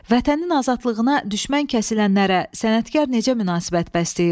Vətənin azadlığına düşmən kəsilənlərə sənətkar necə münasibət bəsləyir?